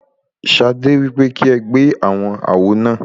Ṣadé wípé kí ẹ gbé àwọn àwo náà.